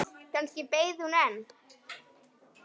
Kannski beið hún enn.